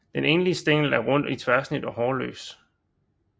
Den enlige stængel er rund i tværsnit og hårløs